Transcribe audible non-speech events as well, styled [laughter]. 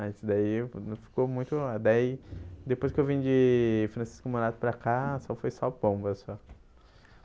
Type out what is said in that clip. Aí isso daí [unintelligible] não ficou muito... Daí depois que eu vim de Francisco Morato para cá, só foi [unintelligible] só.